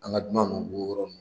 An ka dunan ninnu u b'o yɔrɔ nun